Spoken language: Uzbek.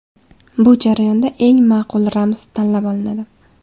Bu jarayonda eng ma’qul ramz tanlab olinadi.